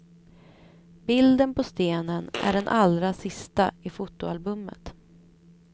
Bilden på stenen är den allra sista i fotoalbumet.